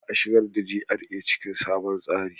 Za a shigar da GRA cikin sabon tsarin.